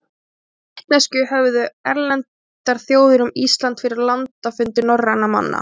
hvaða vitneskju höfðu erlendar þjóðir um ísland fyrir landafundi norrænna manna